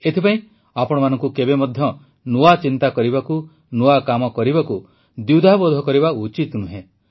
ଏଥିପାଇଁ ଆପଣମାନଙ୍କୁ କେବେ ମଧ୍ୟ ନୂଆ ଚିନ୍ତା କରିବାକୁ ନୂଆ କାମ କରିବାକୁ ଦ୍ୱିଧାବୋଧ କରିବା ଉଚିତ ନୁହେଁ